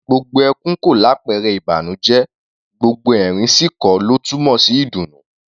Gbogbo ẹkún kọ́ làpẹrẹ ìbànújẹ́; gbogbo ẹ̀rín sì kọ́ ló túmọ̀ sí ìdùnnú.